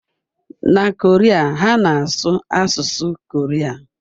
Na Korea, ha na-asụ asụsụ Korea.